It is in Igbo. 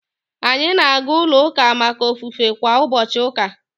Anyị na-aga ulo uka maka ofufe kwa ubochi uka